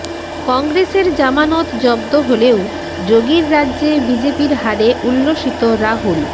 কংগ্রেসের জামানত জব্দ হলেও যোগীর রাজ্যে বিজেপির হারে উল্লসিত রাহুল